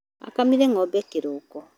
Akamire ngʻombe kĩroko